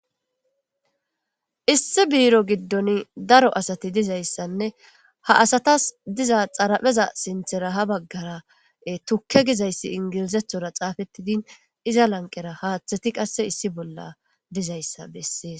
Issi biro gidoni daro asati dizaysa ha asatas diza xaripheza sinithara tuke gizayis englizathora xapetidi iza laniqera qas hathati issi bolla dizayisa beses